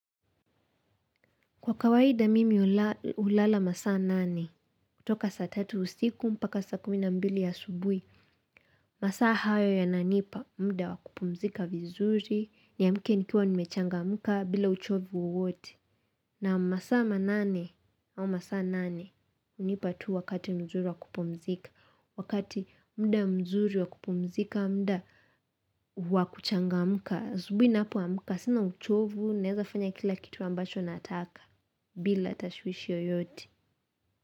Kwa kawaiida mimi hulala masaa nane, kutoka sa tatu usiku, mpaka saa kumina mbili ya asubuhi, masaa hayo ya nanipa, mda wakupumzika vizuri, niaamke nikiwa nimechangamka bila uchovu uwote. Na masaa manane, au masaa nane, hunipa tu wakati mzuri wakupumzika, wakati muda mzuri wakupumzika, muda wakuchangamka, asubuhi ninapoamka, sina uchovu, naeza fanya kila kitu ambacho nataka. Bila tashwishi yoyote.